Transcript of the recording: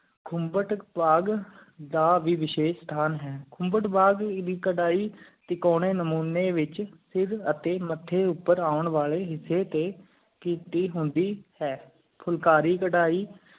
ਖੁਮਬਾਤ ਪੱਗ ਦਾ ਵਸ਼ੀਸ਼ ਸਥਾਨ ਹੈ ਖੁਮਬਾਤ ਬਾਗ਼ ਦੀ ਕਰਹਿ ਤਿਕੋਨੀ ਨਾਮੋਨੀ ਵਿਚ ਸਰ ਅਤਿ ਮਾਥੈ ਉਪਰ ਊਂ ਵਾਲੀ ਹਿੱਸੀ ਕੀਤੀ ਹੁੰਦੀ ਹੈ ਫੁਲਕਾਰੀ ਕਰੈ